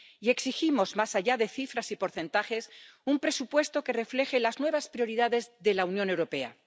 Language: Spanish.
Y exigimos, más allá de cifras y porcentajes, un presupuesto que refleje las nuevas prioridades de la Unión Europea.